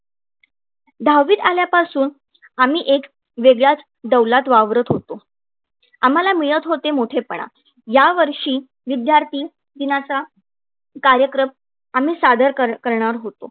दहावीत आल्यापासून आम्ही एक वेगळ्याच डौलात वावरत होतो. आम्हाला मिळत होते मोठेपणा. या वर्षी विद्यार्थी दिनाचा कार्यक्रम आम्ही सादर करणार होतो.